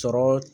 Sɔrɔ